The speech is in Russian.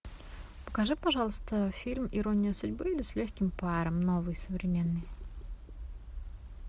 покажи пожалуйста фильм ирония судьбы или с легким паром новый современный